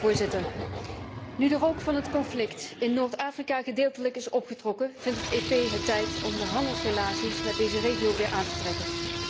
Voorzitter, nu de rook van het conflict in Noord Afrika gedeeltelijk is opgetrokken, vindt het EP het tijd om de handelsbetrekkingen met deze regio weer aan te trekken.